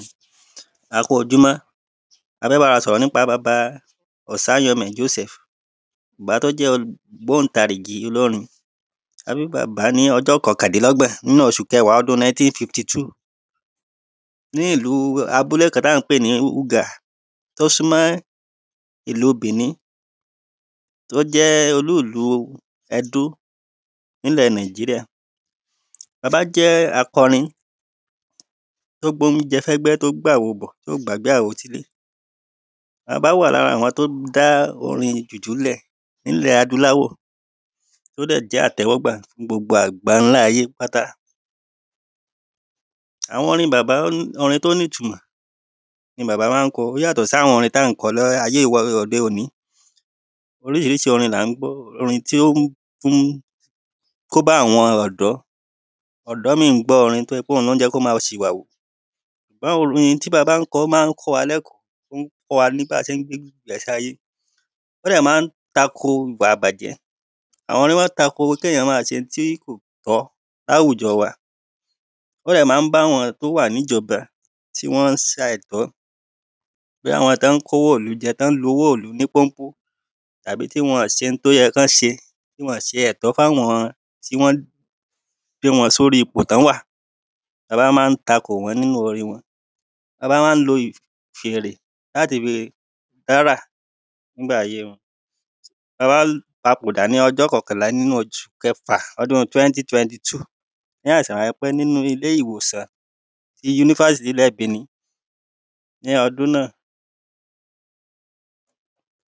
a kú ojúmọ́, a fẹ́ báwa sọ̀rọ̀ nípa baba òsáyẹmẹ̀ josẹ̀f, bàbá to jẹ́ olù ògbóntarìgì olórin a bí bàbá ní ọjọ́ kọkàndínlọ́gbọ̀n nínú oṣu kẹwàá ọdún náítín fifti túù ní ìlúu abúlé kan táa ń pè ní ùgà tó súnmọ́ ìlu bìní. tó jẹ́ olúlúu ẹdó nílẹ̀ náìjíríà. baba jẹ́ akọrin tó gbé oúnjẹ fẹ́gbẹ́ tó gbáwo bọ̀, tóò gbàgbé àwo sílé baba wà lára àwọn tó dá orin jùjú ńlẹ̀ nílẹ̀ adúláwọ̀ to dẹ̀ jẹ́ àtẹ́wọ́gbà ní gbogbo àgbàńlá ayé pátá àwọn orin bàbá, orin tó ní ìtunmọ̀ ni bàbá máa ń kọ, ó yàtọ̀ sí àwọn táa ń kọ ní ayé òde ònì oríṣiríṣi orin là ń gbọ́, orin tí ón mú, kóbá àwọn ọ̀dọ́ ọ̀dọ́ míì ń gbọ́ orin tó jẹ́ wípé ohun ló jẹ́ kó máa ṣìwàwù ṣùgbọ́n orin tí baba ń kọ, ó máa ń kọ́ wa ní ẹ̀kọ́, ó ń kọ́ wa bí a ṣe ń gbé ìgbésé ayé ó dẹ̀ máa ń tako ìwà ìbàjẹ́, àwọn máa ń tako kéyàn máa ṣe ohun tí kò tọ́ láwùjọ wa ó dé máa n báwọn tó wà níjọba tíwọ́n ṣàìtọ́, bóyá àwọn tón kówó ìlú jẹ, tón lu owó ìlú ní pónpó, tàbí tí wọn-ọ̀n ṣe ohun tó yẹ kọ́n ṣe tí wọn ọ̀n ṣe ẹ̀tọ́ fún àwọn tí wọ́n gbé wọn sóri ipò tọ́n wà baba máa ń tako wọ́n nínú orin wọn. baba máa ń lo ì fèrè láti fi dárà ńgbà ayé wọn baba papòdà ní ọjọ́ kọkànlà nínú oṣù kẹfà ọdún twẹ́ntí twẹnti túù ní àìsàn ránpẹ́ nínú ilé-ìwòsàn ti yunifásitì ilẹ̀ bìní ní ọdún náà